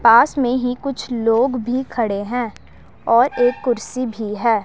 पास में ही कुछ लोग भी खड़े हैं और एक कुर्सी भी है।